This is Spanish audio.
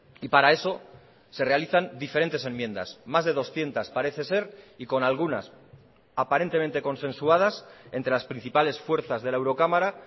y para eso se realizan diferentes enmiendas más de doscientos parece ser y con algunas aparentemente consensuadas entre las principales fuerzas de la eurocámara